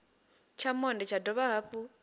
tsha monde vha dovha hafhu